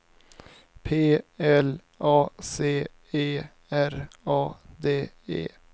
P L A C E R A D E